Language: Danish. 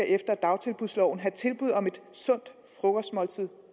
efter dagtilbudsloven skal have tilbud om et sundt frokostmåltid